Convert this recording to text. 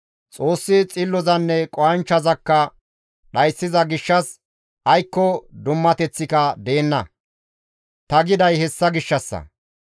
Xoossi xillozanne qohanchchazakka dhayssiza gishshas aykko dummateththika deenna ta giday hessa gishshassa.